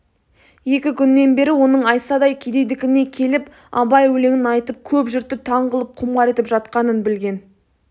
екі күннен бері оның айсадай кедейдікіне келіп абай өлеңін айтып көп жұртты таң қылып құмар етіп жатқанын білген